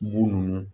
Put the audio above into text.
Bu ninnu